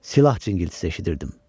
Silah cingiltisi eşidirdim.